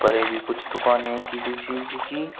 ये भी कुछ दुकानें है किसी चीज की।